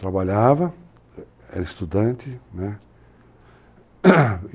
Trabalhava, era estudante, né?